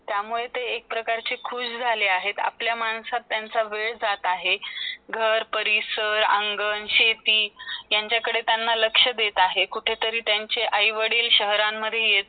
त्यामुळे ते एक प्रकारचे खुश झाले आहेत आपल्या माणसात त्यांचा वेळ जात आहे . घर , परिसर , आंगण , शेती यांचीकडे त्यांचा लक्ष देत आहे कुठतरी त्यांचा लक्ष आई - वडिल शहरं मदे येत